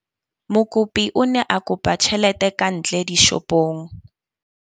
Mokopi o ne a kopa tjhelete ka ntle dishopong.